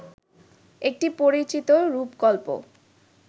একটি পরিচিত রূপকল্প